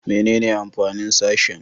Menene amfanin sashen?